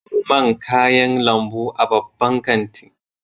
Babu man kayan lambu a babban kanti